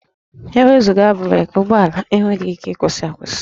E wezuga breekị, ụgbọala enweghị ike ịkwụsị akwụsị